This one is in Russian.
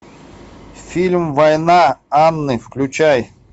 фильм война анны включай